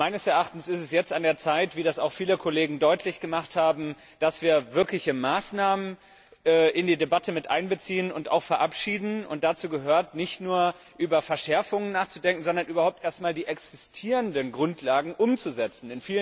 Meines Erachtens ist es jetzt an der Zeit wie das auch viele Kollegen deutlich gemacht haben dass wir wirkliche Maßnahmen in die Debatte mit einbeziehen und auch verabschieden. Dazu gehört nicht nur, über Verschärfungen nachzudenken, sondern überhaupt erst einmal die existierenden Grundlagen umzusetzen.